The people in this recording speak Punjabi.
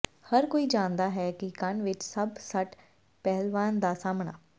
ਹਰ ਕੋਈ ਜਾਣਦਾ ਹੈ ਕਿ ਕੰਨ ਵਿੱਚ ਸਭ ਸੱਟ ਪਹਿਲਵਾਨ ਦਾ ਸਾਹਮਣਾ